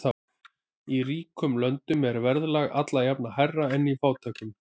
Í ríkum löndum er verðlag alla jafna hærra en í fátækum.